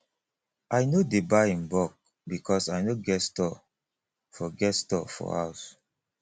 i no dey buy in bulk because i no get store for get store for house